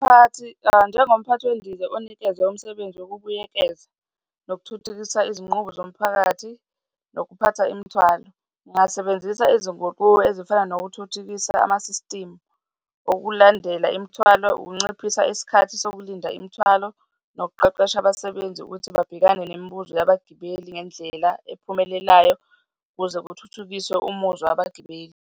Umphakathi, njengomphakathi wendiza onikezwe umsebenzi wokubuyekeza nokuthuthukisa izinqubo zomphakathi nokuphatha imithwalo, ngingasebenzisa izinguquko ezifana nokuthuthukisa amasistimu okulandela imithwalo, ukunciphisa isikhathi sokulinda imithwalo nokuqeqesha abasebenzi ukuthi babhekane nemibuzo yabagibeli ngendlela ephumelelayo ukuze kuthuthukiswe umuzwa abagibeli.